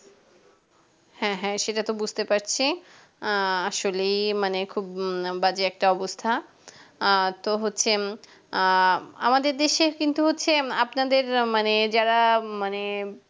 হ্যাঁ হ্যাঁ সেটা তো বুঝতে পারছি আ আসলেই মানে খুব বাজে একটা অবস্থা আ তো হচ্ছে উম আ আমাদের দেশের কিন্তু হচ্ছে আপনাদের মানে যারা মানে